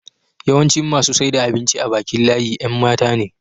yawancin masu saida abinci a Bakin layin Yan matane